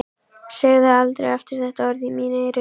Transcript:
Segðu aldrei aftur þetta orð í mín eyru.